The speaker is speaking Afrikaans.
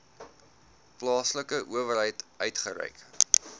plaaslike owerheid uitgereik